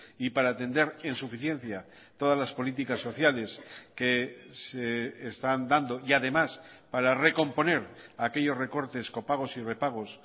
y para atender en suficiencia todas las políticas sociales que se están dando y además para recomponer aquellos recortes copagos y repagos